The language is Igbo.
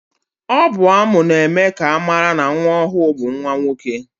Ọ bụ ámụ̀ na-eme ka amara na nwa ọhụụ bụ nwanwoke.